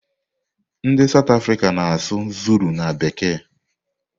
Ndị South Africa na-asụ zulu na bekee.